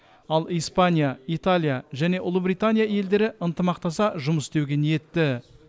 ал испания италия және ұлыбритания елдері ынтымақтаса жұмыс істеуге ниетті